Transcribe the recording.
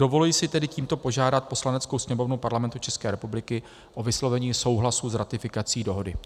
Dovoluji si tedy tímto požádat Poslaneckou sněmovnu Parlamentu České republiky o vyslovení souhlasu s ratifikací dohody.